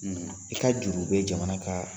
I ka juru bɛ jamana ka